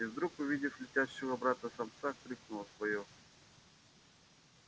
и вдруг увидев летящего обратно самца крикнула своё